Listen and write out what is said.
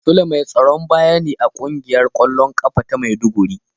Sule mai tsaron baya ne a kungiyar kwallon kafa ta maiduguri